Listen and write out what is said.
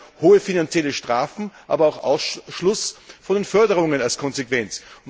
Ich denke an hohe finanzielle Strafen, aber auch an Ausschluss von den Förderungen als Konsequenz.